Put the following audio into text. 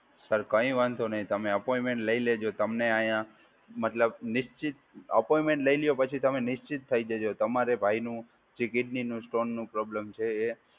Sir કંઈ વાંધો નહી તમે અપોઈન્ટમેન્ટ લઈ લેજો. તમને અહીયાં મતલબ નિશ્ચિત અપોઈન્ટમેન્ટ લઈ લ્યો પછી તમે નિશ્ચિત થઈ જજો. તમારે ભાઈ નું જે કિડની નું સ્ટોનનું પ્રોબ્લેમ છે એ